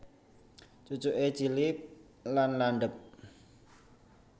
Cucuke cilik lan landhep